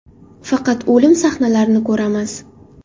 Faqat o‘lim sahnalarini ko‘ramiz.